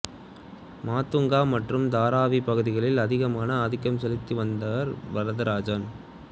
மாத்தூங்கா மற்றும் தாராவி பகுதிகளில் அதிகமான ஆதிக்கம் செலுத்தி வந்தார் வரதராஜன்